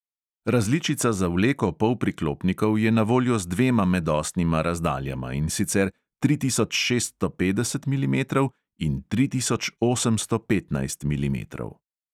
Različica za vleko polpriklopnikov je na voljo z dvema medosnima razdaljama, in sicer tri tisoč šeststo petdeset milimetrov in tri tisoč osemsto petnajst milimetrov.